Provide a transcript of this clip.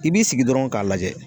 I b'i sigi dɔrɔn k'a lajɛ